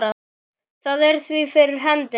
Það er því fyrir hendi.